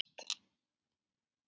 Hún fannst fyrst.